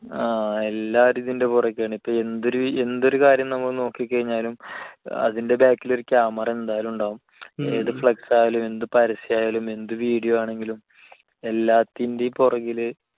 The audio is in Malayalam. ങ്ഹാ. എല്ലാവരും ഇതിന്റെ പുറകേയാണിപ്പോൾ. എന്തൊരു, എന്തൊരു കാര്യം നമ്മൾ നോക്കിക്കഴിഞ്ഞാലും അതിന്റെ back ൽ ഒരു camera എന്തായാലും ഉണ്ടാകും. ഏതു flex ആയാലും. എന്തു പരസ്യം ആണെങ്കിലും, എന്ത് video ആയാലും എല്ലാത്തിന്റെയും പുറകിൽ.